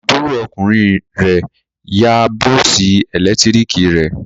Àbúrò ọkùnrin rẹ̀ yá bọ́ọ́sì ẹ̀lẹ́tíríkì rẹ̀.